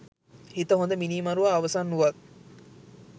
හිත හොද මිනීමරුවා අවසන් වූවත්